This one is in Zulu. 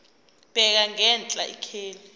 bheka ngenhla ikheli